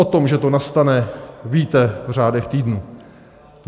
O tom, že to nastane, víte v řádech týdnů.